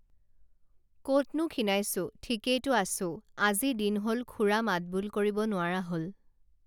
কতনো খীণাইছোঁ ঠিকেইতো আছোঁ আজি দিন হল খুৰা মাতবোল কৰিব নোৱাৰা হল